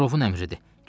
Murovun əmridir.